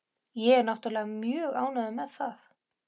Og ég er náttúrlega mjög ánægður með það.